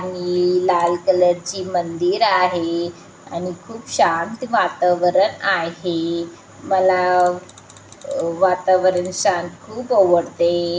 आणि ही लाल कलर ची मंदिर आहे आणि खूप शांत वातावरण आहे. मला अ वातावरण शांत खूप आवडते.